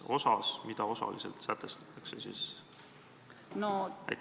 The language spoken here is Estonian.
Mis osas mida osaliselt sätestatakse?